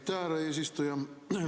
Aitäh, härra eesistuja!